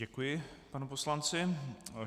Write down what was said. Děkuji panu poslanci.